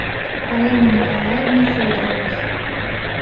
полины николаевны федоровой